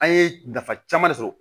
An ye nafa caman de sɔrɔ